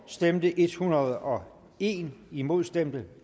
stemte en hundrede og en imod stemte